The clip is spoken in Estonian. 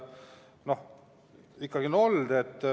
Noh, neid ikkagi on olnud.